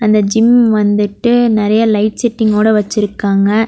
அந்த ஜிம் வந்துட்டு நெறய லைட் செட்டிங் ஓட வெச்சிருக்காங்க.